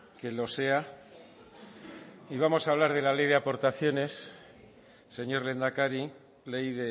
que lo sea y vamos a hablar de la ley de aportaciones señor lehendakari ley